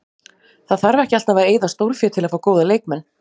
Það þarf ekki alltaf að eyða stórfé til að fá góða leikmenn.